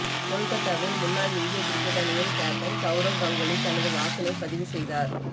கொல்கத்தாவில் முன்னாள் இந்திய கிரிக்கெட் அணியின் கேப்டன் சவுரவ் கங்குலி தனது வாக்கினை பதிவு செய்தார்